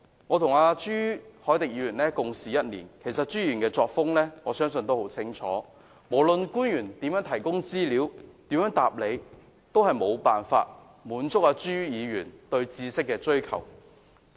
我和朱凱廸議員共事1年，朱議員的作風我相信大家也知道得很清楚，不論官員如何提供資料和答覆，也無法滿足朱議員對知識的追求。